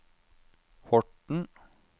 Horten